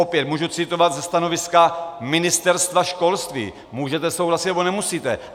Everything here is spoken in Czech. Opět můžu citovat ze stanoviska Ministerstva školství, můžete souhlasit, nebo nemusíte.